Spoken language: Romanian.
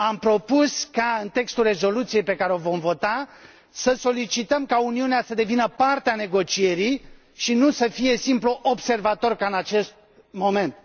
Am propus ca, în textul rezoluției pe care o vom vota, să solicităm ca Uniunea să devină parte a negocierii și nu să fie simplu observator, ca în acest moment.